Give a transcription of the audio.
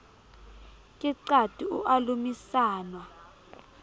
ke qati o a lomisanwa